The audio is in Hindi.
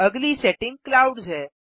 अगली सेटिंग क्लाउड्स है